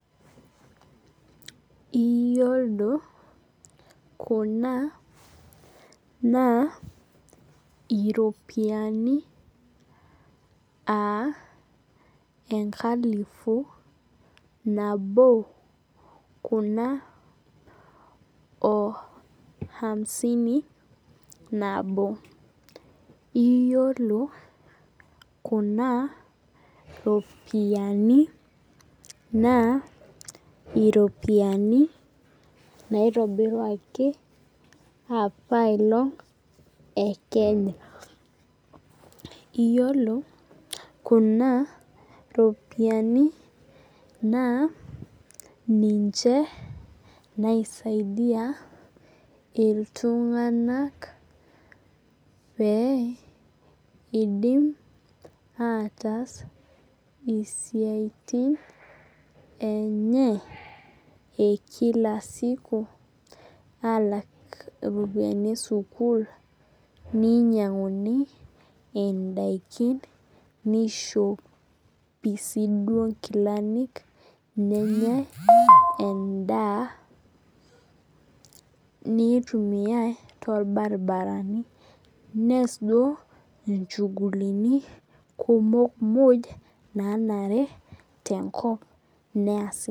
Iyolo kuna na iropiyiani aa enkalifu nabo kuna o hamsini nabo iyolo kuna ropiyani naa iropiyiani naitobiruaki apailong e kenya iyolo kuna ropiyani naa ninche naisaidia ltunganak pee idim ataas isiatin enye e kila siku alak ropiyani esukul ninyanguni ndakini nishopi nkilani nenyae endaa naitumia torbaribara ni neas nchugulini nanare tenkop neasi.